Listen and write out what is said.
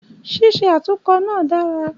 Ṣíṣe atunkọ na dára